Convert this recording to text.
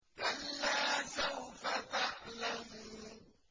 كَلَّا سَوْفَ تَعْلَمُونَ